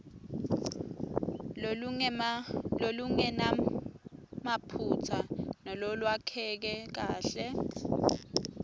lolungenamaphutsa nalolwakheke kahle